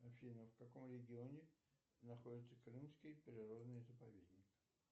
афина в каком регионе находится крымский природный заповедник